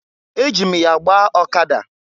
Eji m ya gbaa ọkada.